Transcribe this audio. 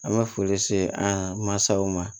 An bɛ foli se an mansaw ma